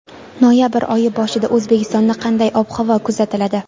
Noyabr oyi boshida O‘zbekistonda qanday ob-havo kuzatiladi.